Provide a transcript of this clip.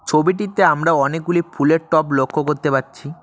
ছবিটিতে আমরা অনেকগুলি ফুলের টব লক্ষ করতে পারছি।